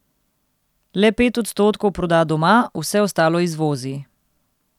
Le pet odstotkov proda doma, vse ostalo izvozi.